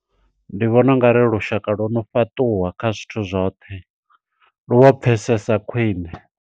Ndi vhona ungari lushaka lwo no fhaṱuwa kha zwithu zwoṱhe, lu vho pfesesa khwiṋe.